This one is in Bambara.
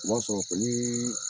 O b'a sɔrɔ